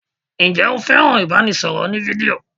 Ǹjẹ́ o fẹ́ràn ibanisoro òní-fídíò?